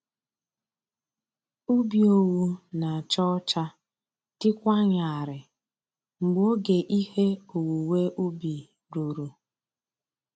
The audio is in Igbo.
Ubi owu na-acha ọcha dịkwa nyarịị mgbe oge ihe owuwe ubi ruru.